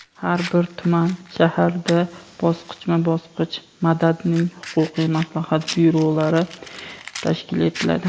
har bir tuman (shahar)da bosqichma-bosqich "Madad"ning huquqiy maslahat byurolari tashkil etiladi.